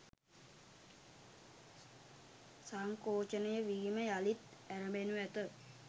සංකෝචනය වීම යළිත් ඇරඹෙනු ඇත